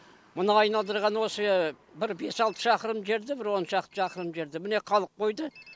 мына айналдырған осы бір бес алты шақырым жерді бір он шақты шақырым жерді міне қалып қойды